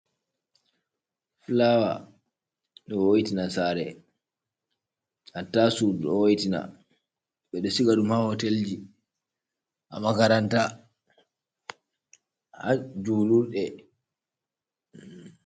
Flower, ɗo wo'tina saare, hatta sudu ɗo wo'tina, ɓe ɗo siga ɗum haa hotel ji, haa makaranta, ha julurɗe.